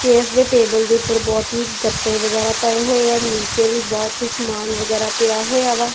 Chairs ਅਤੇ table ਦੇ ਊਪਰ ਬੌਹਤ ਹੀ ਗੱਤੇ ਵਗੈਰਾ ਪਏ ਹੋਏਏਂ ਨੀਚੇ ਵੀ ਬੌਹਤ ਹੀ ਸਮਾਨ ਵਗੈਰਾ ਪਿਆ ਹੋਇਆ ਵਾ।